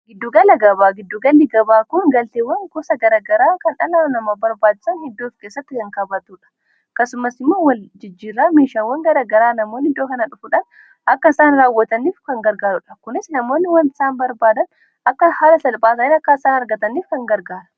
Giddugala gabaa, giddugalli-gabaa kun galteewwan gosa garagaraa kan dhala namaa barbaachisan iddoof keessatti kan qabatuudha. Akkasumas immoo wal jijjiirraa meeshaawwan garagaraa namoonni iddoo kana dhufuudhaan akka isaan raawwataniif kan gargaarudha. Kunis namoonni wan isaan barbaadan akka haala salphaan akka isaan argataniif kan gargaadha.